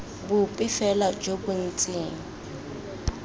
bope fela jo bo ntseng